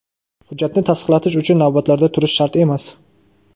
hujjatni tasdiqlatish uchun navbatlarda turish shart emas.